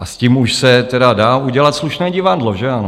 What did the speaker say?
A s tím už se tedy dá udělat slušné divadlo, že ano?